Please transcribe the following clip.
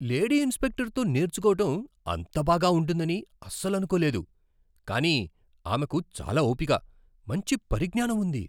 Lady ఇన్స్ట్రక్టర్తో నేర్చుకోవడం అంత బాగా ఉంటుందని అస్సలు అనుకోలేదు, కానీ ఆమెకు చాలా ఓపిక, మంచి పరిజ్ఞానం ఉంది.